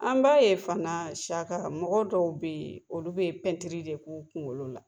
An b'a ye fana Siaka mɔgɔ dɔw bɛ yen olu bɛ pɛntiri de ku kungolo la.